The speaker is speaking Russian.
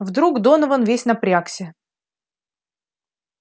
вдруг донован весь напрягся